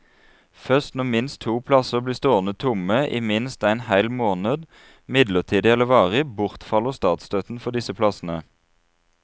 Først når minst to plasser blir stående tomme i minst en hel måned, midlertidig eller varig, bortfaller statsstøtten for disse plassene.